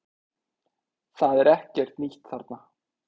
Það er ekkert nýtt þarna